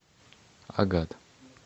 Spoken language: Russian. агат